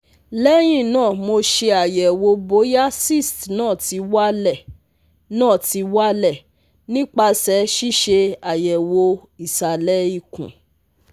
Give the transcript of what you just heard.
Lehina mo se ayewo boya cysts na ti wale na ti wale nipase sise ayewo isale ikun